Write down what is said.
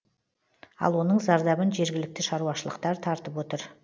ал оның зардабын жергілікті шаруашылықтар тартып отыр